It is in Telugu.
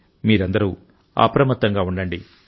మీరందరూ అప్రమత్తంగా ఉండండి